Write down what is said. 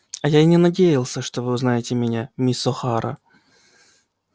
а я и не надеялся что вы узнаете меня мисс охара